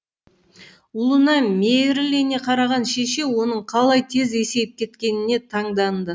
ұлына мейірлене қараған шеше оның қалай тез есейіп кеткеніне таңданды